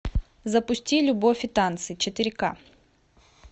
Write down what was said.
запусти любовь и танцы четыре ка